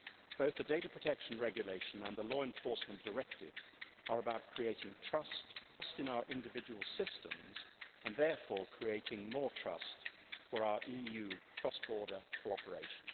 Both the Data Protection Regulation and the Law Enforcement Directive are about creating trust in our individual systems and therefore creating more trust for our EU cross border cooperation.